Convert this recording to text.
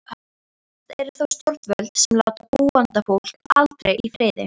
Verst eru þó stjórnvöld, sem láta búandfólk aldrei í friði.